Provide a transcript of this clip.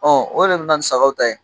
Ɔ o de bɛ na ni sagaw ta ye.